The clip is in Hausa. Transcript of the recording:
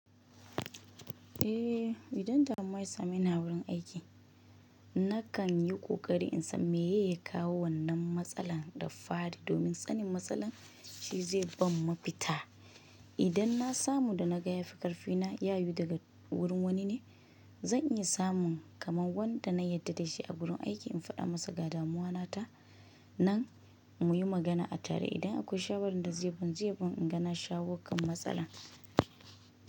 Eh, idan damuwa ya same ni a wurin aiki, na kan yi ƙoƙari in san meye ya kawo wannan matsalar da fari domin sanin matsalar shi zai ban mafita. Idan na samu da na ga ya fi ƙarfi na ya yiwu daga wurin wani ne, zan iya samun kamar wanda na yarda da shi a wurin aiki in faɗa masa ga damuwa na ta, nan mu yi magana a tare. Idan akwai shawarar da zai ban zai ban in ga na shawo kan matsalar.